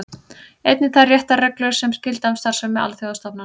Einnig þær réttarreglur sem gilda um starfsemi alþjóðastofnana.